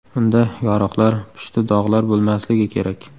Unda yoriqlar, pushti dog‘lar bo‘lmasligi kerak.